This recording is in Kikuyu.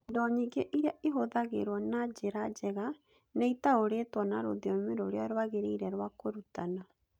Indo nyingĩ iria ihũthagĩrũo na njĩra njega nĩ itaũrĩtwo na rũthiomi rũrĩa rwagĩrĩire rwa kũrutana.